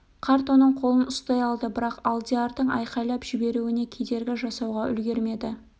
қарт оның қолын ұстай алды бірақ алдиярның айқайлап жіберуіне кедергі жасауға үлгермеді